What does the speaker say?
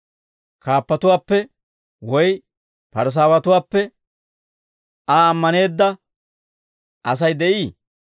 Kaappatuwaappe woy Parisaawatuwaappe Aa ammaneedda Asay de'ii?